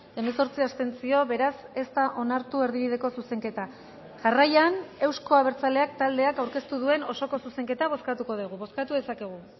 hemezortzi abstentzio beraz ez da onartu erdibideko zuzenketa jarraian euzko abertzaleak taldeak aurkeztu duen osoko zuzenketa bozkatuko dugu bozkatu dezakegu